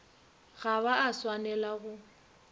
ga ba a swanela go